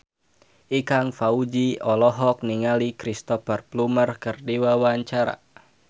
Ikang Fawzi olohok ningali Cristhoper Plumer keur diwawancara